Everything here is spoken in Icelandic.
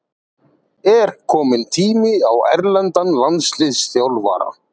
Er kominn tími á erlendan landsliðsþjálfara?